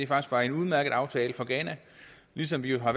faktisk var en udmærket aftale for ghana ligesom vi har